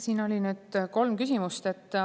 Siin oli nüüd kolm küsimust.